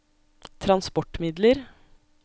transportmidler